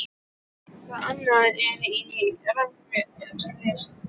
Það er eitthvað annað en í Rangárvallasýslu.